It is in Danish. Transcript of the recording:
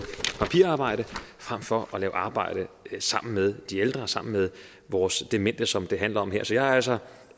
papirarbejde frem for at lave arbejde sammen med de ældre sammen med vores demente som det handler om her så jeg er altså